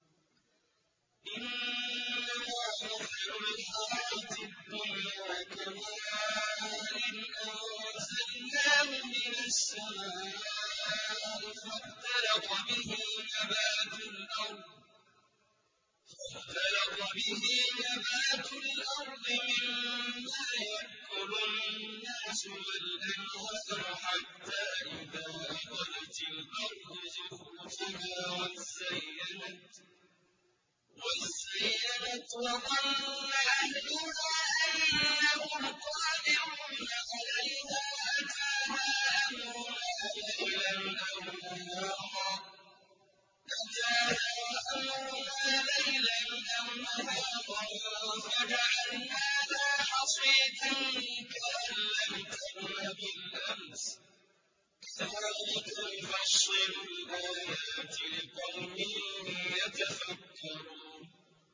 إِنَّمَا مَثَلُ الْحَيَاةِ الدُّنْيَا كَمَاءٍ أَنزَلْنَاهُ مِنَ السَّمَاءِ فَاخْتَلَطَ بِهِ نَبَاتُ الْأَرْضِ مِمَّا يَأْكُلُ النَّاسُ وَالْأَنْعَامُ حَتَّىٰ إِذَا أَخَذَتِ الْأَرْضُ زُخْرُفَهَا وَازَّيَّنَتْ وَظَنَّ أَهْلُهَا أَنَّهُمْ قَادِرُونَ عَلَيْهَا أَتَاهَا أَمْرُنَا لَيْلًا أَوْ نَهَارًا فَجَعَلْنَاهَا حَصِيدًا كَأَن لَّمْ تَغْنَ بِالْأَمْسِ ۚ كَذَٰلِكَ نُفَصِّلُ الْآيَاتِ لِقَوْمٍ يَتَفَكَّرُونَ